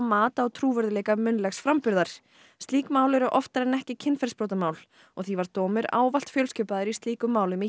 munnlegs framburðar slík mál eru oftar en ekki kynferðisbrotamál og því var dómur ávallt fjölskipaður í slíkum málum í héraðsdómi